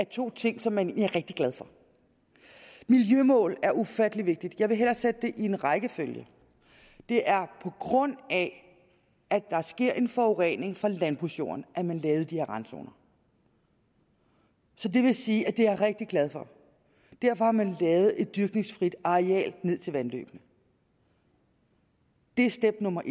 to ting som man er rigtig glad for miljømål er ufattelig vigtigt jeg vil hellere sætte det i en rækkefølge det er på grund af at der sker en forurening fra landbrugsjorden at man lavede de her randzoner så det vil sige at det er jeg rigtig glad for derfor har man lavet et dyrkningsfrit areal ned til vandløbene det er step nummer